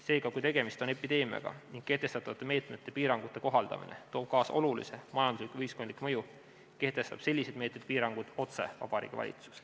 Seega, kui tegemist on epideemiaga ning kehtestatavate meetmete ja piirangute kohaldamine toob kaasa olulise majandusliku või ühiskondliku mõju, kehtestab sellised meetmed ja piirangud otse Vabariigi Valitsus.